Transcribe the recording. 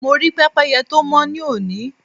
Mo rí pẹ́pẹ́yẹ tó mọ́ ní òní.